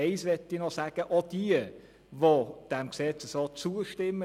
Etwas möchte ich noch zuhanden von Kollege Leuenberger sagen: